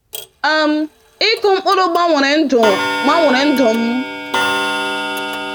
um Ịkụ mkpụrụ gbanwere ndụ gbanwere ndụ m.